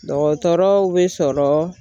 Dɔgɔtɔrɔw be sɔrɔ